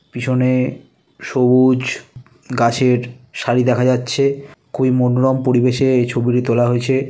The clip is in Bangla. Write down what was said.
পিছনে সবুজ গাছের সারি দেখা যাচ্ছে। খুবই মনোরম পরিবেশে এই ছবিটি তোলা হয়েছে।